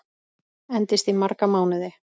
Endist í marga mánuði.